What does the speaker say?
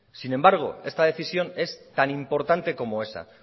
sin embargo esta decisión es tan importante como esa